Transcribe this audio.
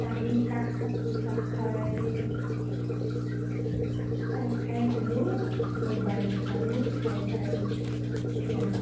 আহি চাহ খালো, চাহ খাই চাহ খাই শুলো । mobile চাই চাই এতিয়া আৰু শুম।